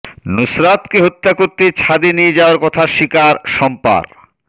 নুসরাতকে হত্যা করতে ছাদে নিয়ে যাওয়ার কথা স্বীকার শম্পার